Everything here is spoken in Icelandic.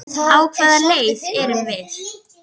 Á hvaða leið erum við?